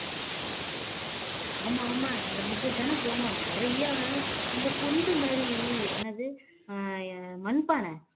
ஆமா ஆமா நம்ம ரெண்டு பேர் தானே போனோம் நிறைய அந்த பொந்து மாதிரி என்னது அஹ் மண்பானை